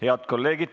Head kolleegid!